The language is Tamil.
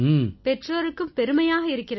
பெற்றோருக்கும் பெருமையாக இருக்கிறது